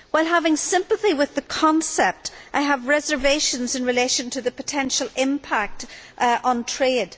While having sympathy with the concept, I have reservations as to the potential impact on trade.